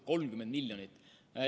30 miljonit!